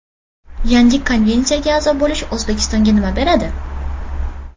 Yangi konvensiyaga a’zo bo‘lish O‘zbekistonga nima beradi?